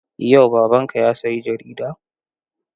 Yau babanka ya sayi jarida?